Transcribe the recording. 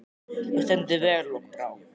Þú stendur þig vel, Lokbrá!